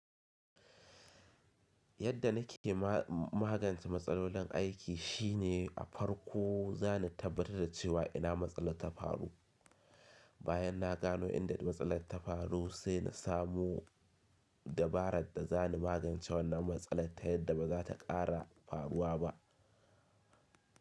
Yadda nike magance matsalolin aiki shine a farko zani tabbatar da cewa ina matsala ta faru. Bayan na gano inda matsalar ta faru sai na samo dabaran da za ni magance wannan matsalar ta yadda ba za ta ƙara faruwa ba.